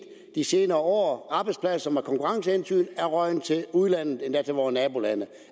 de senere år arbejdspladser som af konkurrencehensyn er røget til udlandet endda til vore nabolande